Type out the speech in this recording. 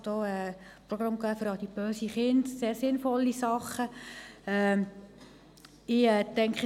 Es gab auch Programme für adipöse Kinder – sehr sinnvolle Dinge.